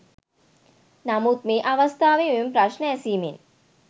නමුත් මේ අවස්ථාවේ මෙම ප්‍රශ්නය ඇසීමෙන්